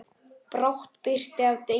Brátt birtir af degi.